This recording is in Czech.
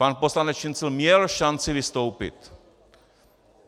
Pan poslanec Šincl měl šanci vystoupit.